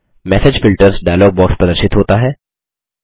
message filters dialog box प्रदर्शित होता है